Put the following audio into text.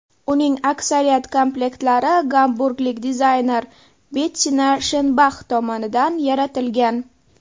Uning aksariyat komplektlari gamburglik dizayner Bettina Shenbax tomonidan yaratilgan.